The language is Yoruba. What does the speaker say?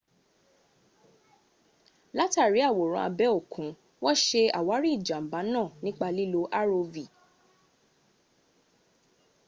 látàrí àwòrán abẹ́ òkun wọn ṣe àwárí ìjànbá náà nípa lílo rov